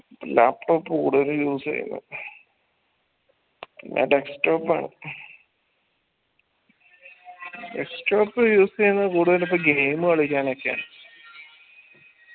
laptop കൂടുതലും use യ്യുന്ന് use എയ്യുന്നത് കൂടുതലും ഇപ്പൊ game കളിക്കാനൊക്കെയാണ്